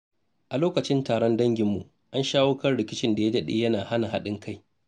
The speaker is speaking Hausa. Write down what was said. A lokacin taron danginmu, an shawo kan rikicin da ya dade yana hana haɗin kai.